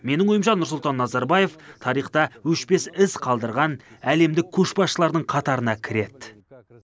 менің ойымша нұрсұлтан назарбаев тарихта өшпес із қалдырған әлемдік көшбасшылардың қатарына кіреді